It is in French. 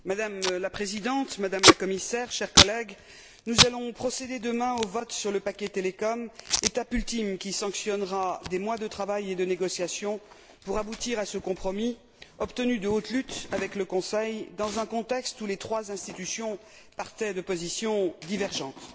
Madame la Présidente, Madame la Commissaire, chers collègues, nous allons procéder demain au vote sur le paquet télécom, étape ultime qui sanctionnera des mois de travail et de négociations pour aboutir à ce compromis obtenu de haute lutte avec le Conseil dans un contexte où les trois institutions partaient de positions divergentes.